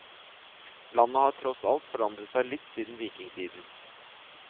Landet har tross alt forandret seg litt siden vikingtiden.